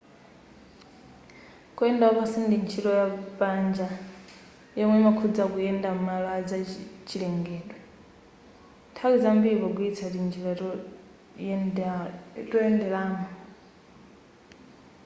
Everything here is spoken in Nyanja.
kuyenda wapansi ndi ntchito ya panja yomwe imakhuza kuyenda m'malo azachilengedwe nthawi zambiri pogwiritsa tinjira toyenderamo